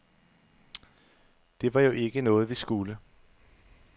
Det var jo ikke noget, vi skulle.